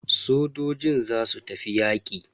Sojojin zasu tafi yaƙi.